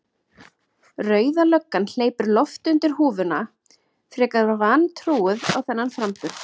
Rauða löggan hleypir lofti undir húfuna, frekar vantrúuð á þennan framburð.